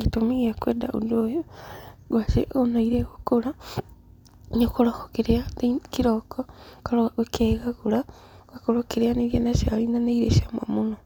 Gĩtũmi gĩakwenda ũndũ ũyũ, ngwacĩ ona iria igũkũra, nĩũ koragwo ũkĩrĩa kĩroko, ũkaroka ũkegagũra, ũgakorwo ũkĩrĩanĩria na cai na nĩirĩ cama mũno.